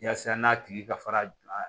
Yasa n'a tigi ka fara